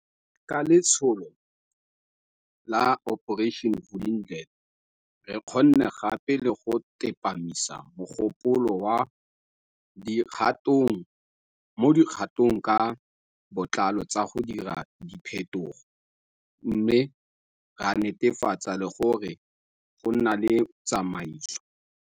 Ka letsholo la Operation Vulindlela, re kgonne gape le go tsepamisa mogopolo mo dikgatong ka botlalo tsa go dira diphetogo, mme ra netefatsa le gore go nna le tsamaiso.